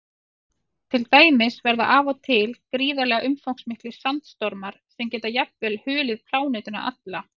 Til dæmis verða af og til gríðarlega umfangsmiklir sandstormar sem geta jafnvel hulið plánetuna alla.